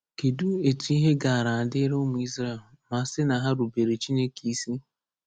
Kedụ etu ihe gaara adịrị ụmụ Izrel ma a sị na ha rubeere Chineke isi?